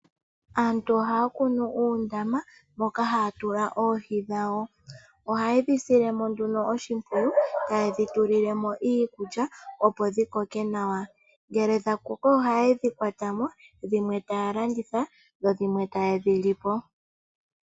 Aantu ohaya filu uundama mboka haya tula oohi dhawo. Oha yedhi sililiemo nduno oshimpwiyu, hayedhi tulilemo iikulya opo dhikoke nawa ngele dha koko ohayedhi kwatamo dhimwe taya landitha dho dhimwe tayedhi lipo.